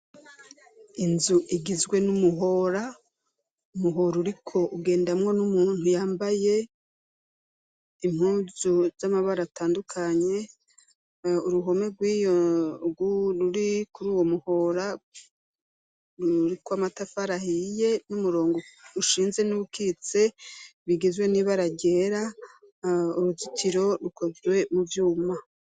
Inzu igizwe n'umuhora, umuhora uriko ugendamwo n'umuntu yambaye impuzu z'amabara atandukanye, uruhome ruri kuri uwo muhora ruriko amatafari ahiye n'umurongo ushinze n'uwukitse bigizwe n'ibara ryera, uruzitiro rukozwe mu vyuma.